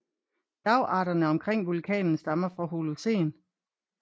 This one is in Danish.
Bjergarterne omkring vulkanen stammer fra holocen